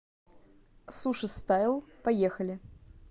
сушистайл поехали